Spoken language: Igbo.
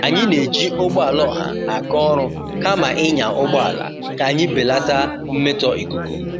Anyị na-eji ụgbọala ọha aga ọrụ kama ịnya ụgbọala ka anyị belata mmetọ ikuku.